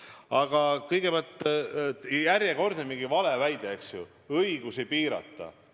Aga kõigepealt järjekordne valeväide: tahetakse õigusi piirata.